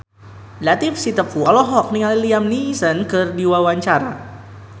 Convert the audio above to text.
Latief Sitepu olohok ningali Liam Neeson keur diwawancara